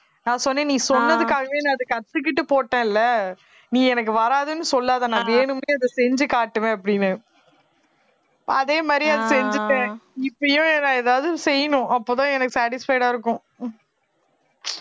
நான் சொன்னேன் நீ சொன்னதுக்காகவே நான் அதை கத்துக்கிட்டு போட்டேன் இல்ல நீ எனக்கு வராதுன்னு சொல்லாதே நான் வேணும்னே அதை செஞ்சு காட்டுவேன் அப்படின்னேன் அதே மாதிரியே அதை செஞ்சுட்டேன் இப்பயும் நான் ஏதாவது செய்யணும் அப்பதான் எனக்கு satisfied ஆ இருக்கும்